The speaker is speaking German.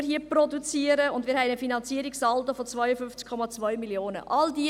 Wir haben zudem einen Finanzierungssaldo von 52,2 Mio. Franken.